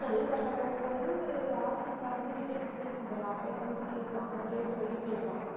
பொண்ணு பார்க்க போகும்போது ராஷ்மிகா வந்து விஜய்க்கு பிடிக்கும் போல அப்ப எல்லாம் வந்துட்டு கேட்பான். இந்த date சொல்லி கேப்பான்.